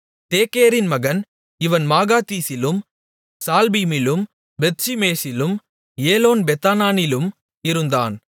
தேக்கேரின் மகன் இவன் மாகாத்சிலும் சால்பீமிலும் பெத்ஷிமேசிலும் ஏலோன்பெத்தானானிலும் இருந்தான்